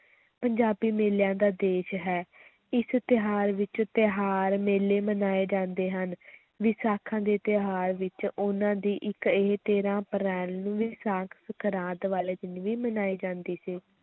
ਪੰਜਾਬੀ ਮੇਲਿਆਂ ਦਾ ਦੇਸ਼ ਹੈ ਇਸ ਤਿਉਹਾਰ ਵਿੱਚ ਤਿਉਹਾਰ ਮੇਲੇ ਮਨਾਏ ਜਾਂਦੇ ਹਨ ਵਿਸਾਖੀ ਦਾ ਤਿਉਹਾਰ ਵਿੱਚ ਉਨ੍ਹਾਂ ਦੀ ਇੱਕ ਇਹ ਤੇਰਾਂ ਅਪ੍ਰੈਲ ਨੂੰ ਵਿਸਾਖ ਸੰਗਰਾਂਦ ਵਾਲੇ ਦਿਨ ਵੀ ਮਨਾਈ ਜਾਂਦੀ ਸੀ।